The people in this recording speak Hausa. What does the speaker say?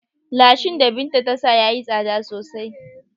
Lashin da Binta ta sa ya yi tsada sosai.